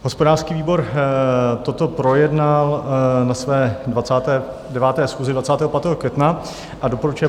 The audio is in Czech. Hospodářský výbor toto projednal na své 29. schůzi 25. května a doporučuje